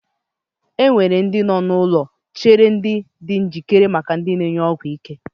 Enwere ndị nọ n'ụlọ nchere di njikere maka ndị ga-ebu ọgwụ ike